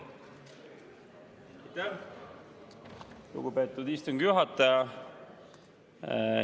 Aitäh, lugupeetud istungi juhataja!